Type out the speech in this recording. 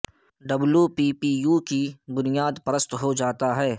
W P P U کی بنیاد پرست ہو جاتا ہے